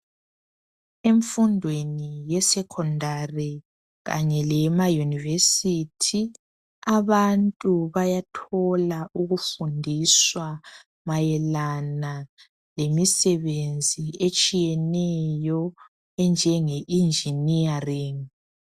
Emfundweni ye secondary kanye leyema university abantu bayathola ukufundiswa mayelana lemisebenzi etshiyeneyo enjenge engineering.